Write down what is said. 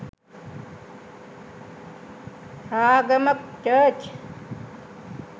ragama church